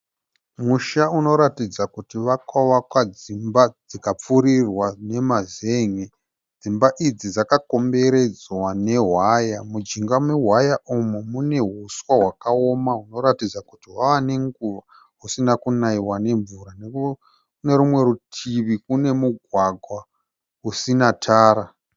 Musha unoratidza kuti wakavakwa dzimba dzikapfurirwa nemazenge. Dzimba idzi dzakakomberedzwa newaya. Mujinga mewaya umu mune huswa wakaoma hunoratidza kuti hwava nenguva husina kunayiwa nemvura. Nekune rumwe rutivi kune mugwagwa usina tara.